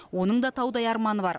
оның да таудай арманы бар